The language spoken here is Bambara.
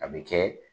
A bɛ kɛ